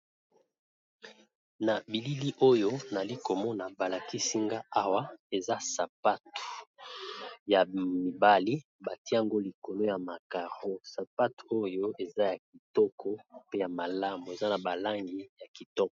Na bilili oyo nali komona balakisinga awa eza sapatu ya mibali, batie yango likolo ya ba karo sapatu oyo eza ya kitoko pe ya malamu eza na ba langi ya kitoko.